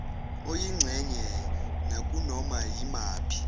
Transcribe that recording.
oyingxenye nakunoma yimaphi